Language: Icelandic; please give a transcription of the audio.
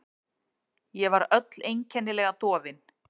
Ég var öll einkennilega dofin.